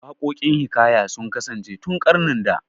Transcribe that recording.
Waƙokin hiƙaya sun kasance tun ƙarnin da